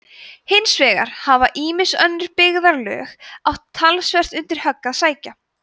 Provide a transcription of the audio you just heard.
hins vegar hafa ýmis önnur byggðarlög átt talsvert undir högg að sækja